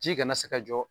Ji kana se ka jɔ